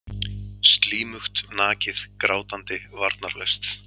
Slímugt, nakið, grátandi, varnarlaust.